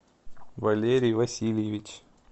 валерий васильевич